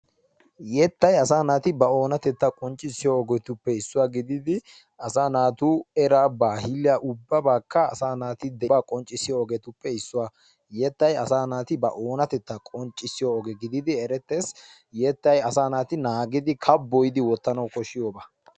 Yettay asa naati ba oonatetta qonccissiyo ogetuppe issuwa gididi asa naatu eraa bahiliyakka ubaabaakka asa nati ubaa qonccissiyobatuppe issuwa yettay asa naati ba oonatetta qonccissiyo oge gididi erettees. Yettay asaa naati naagidi kabboyi wottiyoba.